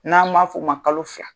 N'an m'a f'o ma kalo fila.